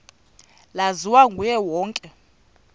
laziwa nguye wonke